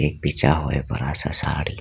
बिछा हुआ है बड़ा सा साड़ी।